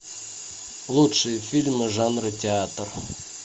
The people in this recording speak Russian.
лучшие фильмы жанра театр